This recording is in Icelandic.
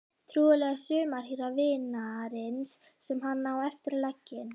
Trúlega sumarhýra vinarins sem hann á eftir að leggja inn.